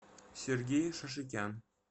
сергей шашикян